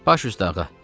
Baş üstə ağa.